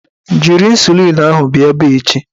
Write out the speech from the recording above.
Jiri ịnsulịn ahụ bịa ebe a echi!